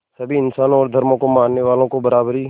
सभी इंसानों और धर्मों को मानने वालों को बराबरी